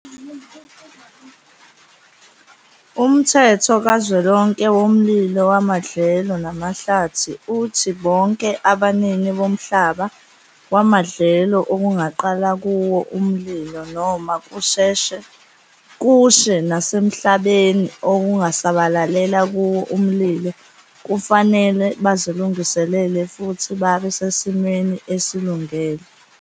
Umthetho kaZwelonke woMlilo wamaDlelo namaHlathi uthi bonke abanini bomhlaba wamadlelo okungaqala kuwo umlilo noma kushe nasemhlabeni okungasabalalela kuwo umlilo kufanele bazilungiselele futhi babe sesimeni esilungele.